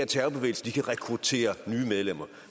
terrorbevægelser kan rekruttere nye medlemmer